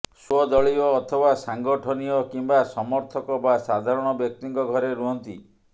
ସ୍ୱଦଳୀୟ ଅଥବା ସାଂଗଠନୀୟ କିମ୍ବା ସମର୍ଥକ ବା ସାଧାରଣ ବ୍ୟକ୍ତିଙ୍କ ଘରେ ରୁହନ୍ତି